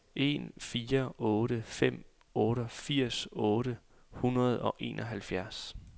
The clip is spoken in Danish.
en fire otte fem otteogfirs otte hundrede og enoghalvfjerds